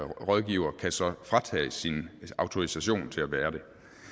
rådgiver så fratages sin autorisation til at være det